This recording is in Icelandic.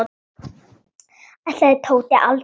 Ætlaði Tóti aldrei að koma?